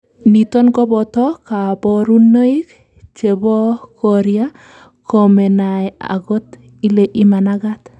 niton koboto kaborunoik chebokoria komenai agot ile imanagat